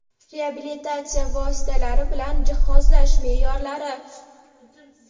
reabilitatsiya vositalari bilan jihozlash meʼyorlari.